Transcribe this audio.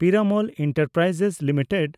Piramal enterprises limited